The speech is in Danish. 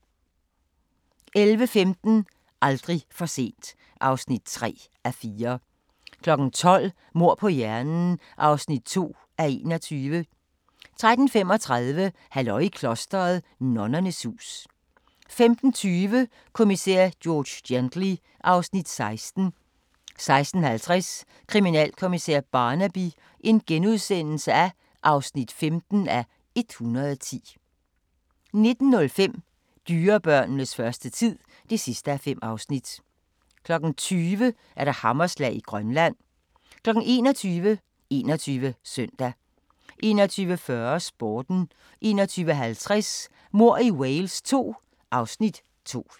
11:15: Aldrig for sent (3:4) 12:00: Mord på hjernen (2:21) 13:35: Halløj i klosteret 2 – Nonnernes hus 15:20: Kommissær George Gently (Afs. 16) 16:50: Kriminalkommissær Barnaby (15:110)* 19:05: Dyrebørnenes første tid (5:5) 20:00: Hammerslag i Grønland 21:00: 21 Søndag 21:40: Sporten 21:50: Mord i Wales II (Afs. 2)